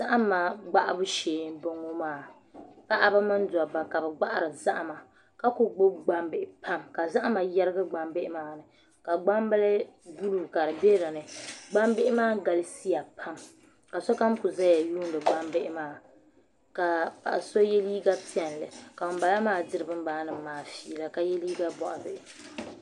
Zahama gbahabu shee n bɔŋɔ ma paɣaba mini dabba ka bi gbahari zahama ka ku gbubi gbambihi pam ka zahama yɛrigi gbambihi maa ni ka gbambili buluu ka di bɛ dinni gbambihi maa galisiya pam ka sokam ku ʒɛya yuundi gbambihi maa ka paɣa so yɛ liiga piɛlli ka ŋunbala maa ʒɛya diri binbala maa fiila ka yɛ liiga boɣa Bihi